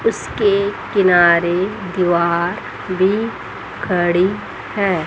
उसके किनारे दीवार भी खड़ी है।